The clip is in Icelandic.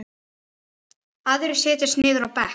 Aðrir setjast niður á bekk.